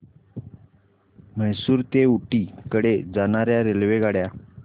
म्हैसूर ते ऊटी कडे जाणार्या रेल्वेगाड्या